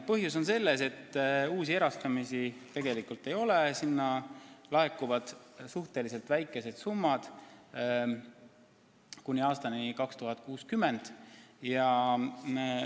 Põhjus on selles, et uusi erastamisi tegelikult ei ole, fondi laekuvad suhteliselt väikesed summad kuni aastani 2060.